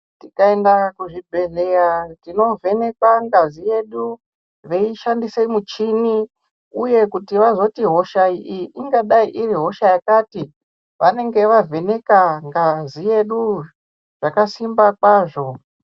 Tikaenda kuzvibhedhlera tinovhenekwa ngazi yedu Veishandisa michini uye kuti vazoti hosha iyi ingadai iri hosha yakati vanenge vavheneka ngazi yedu yakasimba kwazvo.